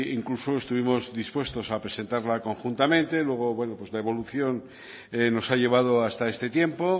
incluso estuvimos dispuestos a presentarla conjuntamente luego bueno pues la evolución nos ha llevado hasta este tiempo